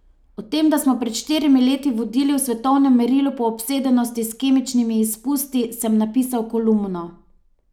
O tem, da smo pred štirimi leti vodili v svetovnem merilu po obsedenosti s kemičnimi izpusti, sem napisal kolumno.